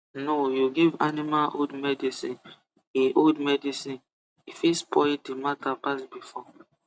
no you give animal old medicine e old medicine e fit spoil the matter pass before